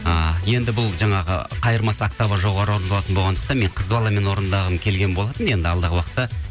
ы енді бұл жаңағы қайырмасы октава жоғары орындалатын болғандықтан мен қыз баламен орындағым келген болатын енді алдағы уақытта